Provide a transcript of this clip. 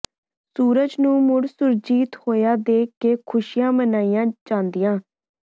ਸੂਰਜ ਨੂੰ ਮੁੜ ਸੁਰਜੀਤ ਹੋਇਆ ਦੇਖ ਕੇ ਖੁਸ਼ੀਆਂ ਮਨਾਈਆਂ ਜਾਂਦੀਆਂ